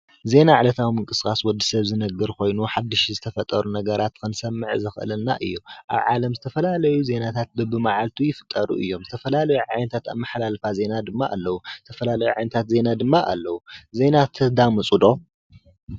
ዜና ዕለታዊ ምንቅስቃስ ወድሰብ ዝነብር ኮይኑ ሓዱሽቲ ዝተፈጠሩ ነገራት ክንሰምዕ ዘክእሉና እዩ። አብ ዓለም ዝተፈላለዩ ዜናታት በብ መዓልቱ ይፍጠሩ እዮም። ዝተፈላለዩ ዓይነታት አመሓላልፋ ዜና ድማ እለው። ዝተፈላለዩ ዓይነታት ዜና ድማ እለው። ዜና ተዳምፁ ዶ?